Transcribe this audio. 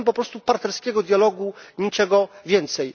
Chcemy po prostu partnerskiego dialogu, niczego więcej.